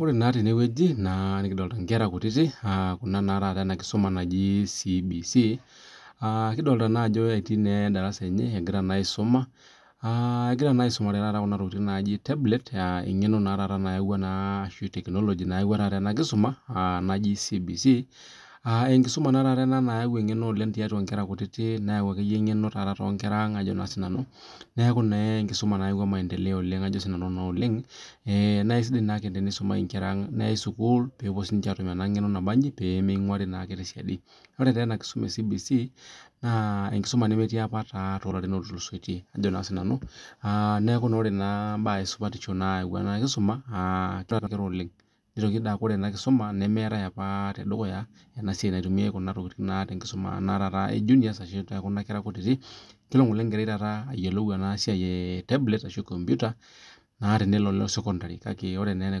Ore naa tenewueji nikidolita enkera kutiti ena kisuma najii CBC kidolita naa Ajo etii darasa enye egira aisuma egira naa aisumare Kuna tokitin naaji tablet eng'eno taata nayawua ashua tekinoloji nayawua ena kisuma naaji CBC enkisuma naa taata nayau eng'eno tiatua Nkera kutiti neyau akeyie eng'eno neeku enkisuma nayawua maendeleo oleng naa aisidai tenisumi siniche enkera ang neyau sukuul pee siniche atum ena kisuma pee minguarii tee siadi aa ore taata ena kisuma ee CBC naa enkisuma nemetii apa too larin otulusoitie neeku ore mbaa esupatisho na eikuko oleng nitoki akuu ore ena kisuma meetae apa esiai naitumiai Kuna tokitin tekuna ee junior kunakera kutiti kelo Ng'ole enkerai ayiolou enasiai ee tablet ashu kompita naa tenelo sekondari kake ore naa ena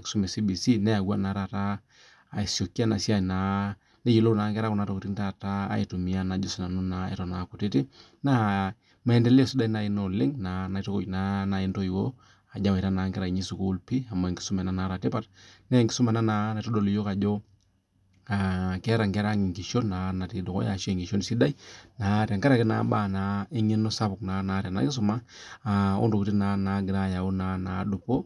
kisuma ee CBC neyawua asikii naa neyiolou enkera Kuna tokitin aitumia Eton AA kutiti naa maendeleo najii sidai ena oleng naitukuuj naaji entoyiwuo ajoki ewaita enkera sukuul]amu enkisuma ena nataa tipat naa enkisuma naitodol iyiok Ajo keeta Nkera ang enkishon sidai naa tenkaraki mbaa eng'eno sapuk naa nataa ena kisuma oo ntokitin naa nagira ayawu naaduoo